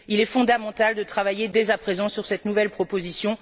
Il est fondamental de travailler dès à présent sur cette nouvelle proposition.